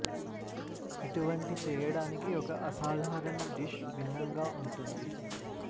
ఇటువంటి చేయడానికి ఒక అసాధారణ డిష్ భిన్నంగా ఉంటుంది